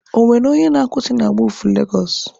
Ọ nwere onye na-akwusị na wọọfụ Legosụ?